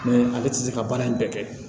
Mɛ ale tɛ se ka baara in bɛɛ kɛ